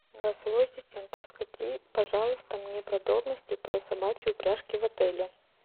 голосовой ассистент расскажи пожалуйста мне подробности про собачьи упряжки в отеле